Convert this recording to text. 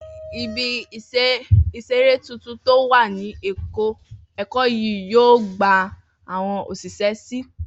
Ibi ìseré tuntun tó wà ní Èkó yóò gba àwọn òṣìṣẹ́ si